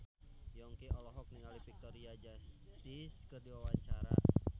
Yongki olohok ningali Victoria Justice keur diwawancara